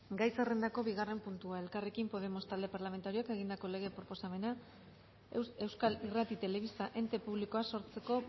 gai zerrendako bigarren puntua elkarrekin podemos talde parlamentarioak egindako lege proposamena euskal irrati telebista ente publikoa sortzeko